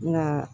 Nka